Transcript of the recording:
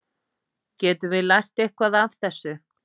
Getum við lært eitthvað af þessu?